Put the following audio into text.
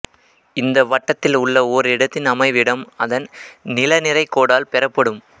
இந்த வட்டத்தில் உள்ள ஓரிடத்தின் அமைவிடம் அதன் நிலநிரைக்கோடால் பெறப்படும்